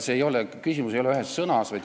Ja küsimus ei ole ühes sõnas.